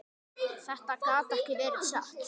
Þetta gat ekki verið satt.